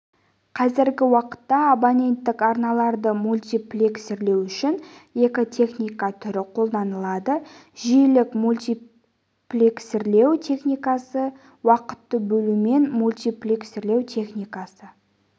қазіргі уақытта абоненттік арналарды мультиплексирлеу үшін екі техника түрі қолданылады жиілік мультиплексирлеу техникасы уақытты бөлумен мультиплексирлеу техникасы